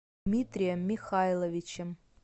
дмитрием михайловичем